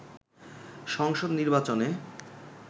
সংসদ নির্বাচনে